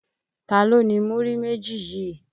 Ta ló ni múrí méjì yìí?